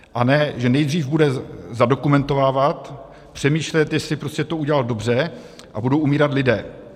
A ne že nejdřív bude zadokumentovávat, přemýšlet, jestli prostě to udělal dobře, a budou umírat lidé.